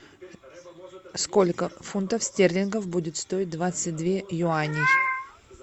сколько фунтов стерлингов будет стоить двадцать две юаней